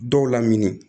Dɔw lamini